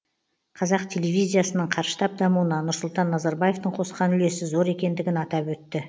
қазақ телевизиясының қарыштап дамуына нұрсұлтан назарбаевтың қосқан үлесі зор екендігін атап өтті